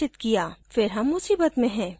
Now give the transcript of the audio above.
फिर हम मुसीबत में हैं